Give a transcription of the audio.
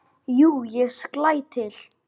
Jú, ég slæ til